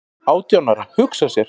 """Átján ára, hugsa sér!"""